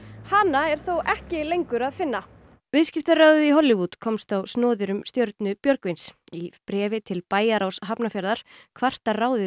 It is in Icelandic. hana er þó ekki lengur að finna viðskiptaráðið í Hollywood komst á snoðir um stjörnu Björgvins í bréfi til bæjarráðs Hafnarfjarðar kvartar ráðið